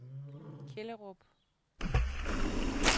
Kjellerup